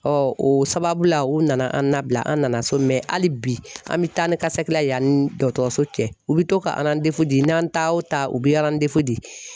o sababu la u nana an nabila an nana so hali bi an mɛ taa ni kasi la yan ni dɔtɔrɔso cɛ u bɛ to ka di n'an ta o ta u bɛ di.